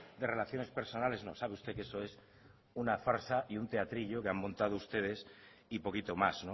de relaciones personales no sabe usted que eso es una farsa y un teatrillo que han montado ustedes y poquito más